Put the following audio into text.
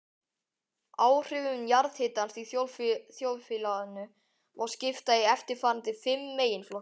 Áhrifum jarðhitans í þjóðfélaginu má skipta í eftirfarandi fimm meginflokka